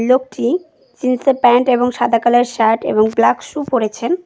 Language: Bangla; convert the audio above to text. লোকটি জিন্স -এর প্যান্ট এবং সাদা কালার -এর শার্ট এবং ব্ল্যাক সু পরেছেন।